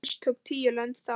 Alls tóku tíu lönd þátt.